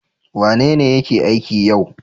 Wanene yake aiki yau?